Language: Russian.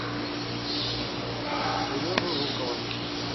сережу жукова